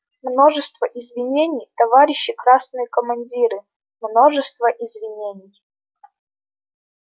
множество извинений товарищи красные командиры множество извинений